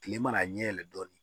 Kile mana ɲɛ yɛlɛ dɔɔnin